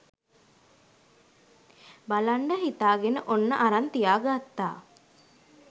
බලන්ඩ හිතාගෙන ඔන්න අරන් තියාගත්තා.